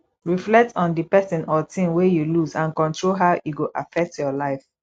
reflect on di person or thing wey you lose and control how e go affect your life